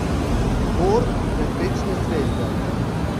Gor, med večne zvezde.